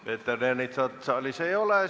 Peeter Ernitsat saalis ei ole.